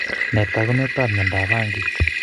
Nee taakunetaab myondap Banki?